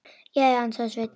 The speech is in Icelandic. Já, ansaði Sveinn.